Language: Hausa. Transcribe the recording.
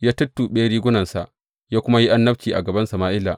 Ya tuttuɓe rigunarsa, ya kuma yi annabci a gaban Sama’ila.